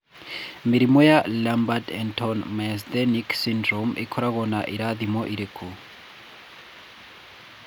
Mĩrimũ ya Lambert Eaton myasthenic syndrome ĩkoragwo na irathimo irĩkũ?